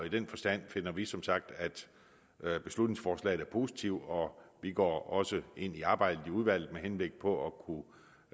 i den forstand finder vi som sagt at beslutningsforslaget er positivt og vi går også ind i arbejdet i udvalget med henblik på